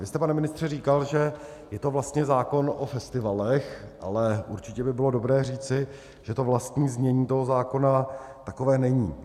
Vy jste, pane ministře, říkal, že je to vlastně zákon o festivalech, ale určitě by bylo dobré říci, že to vlastní znění toho zákona takové není.